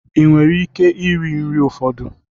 Ị nwere ike iri nri ụfọdụ?